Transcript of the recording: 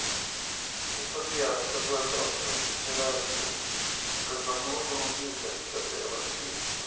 ну так я с тобой общался последний раз ээ когда был в грузии блять сейчас то я в россии